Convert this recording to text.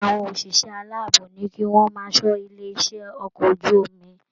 Iṣẹ àwọn oṣiṣẹ aláàbò ní kí wọn máa ṣọ ilé iṣẹ okọ̀ ojú omi.